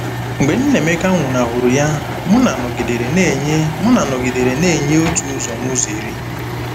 Mgbe Nnaemeka nwụnahụrụ ya, Muna nọgidere na-enye Muna nọgidere na-enye otu ụzọ n'ụzọ iri.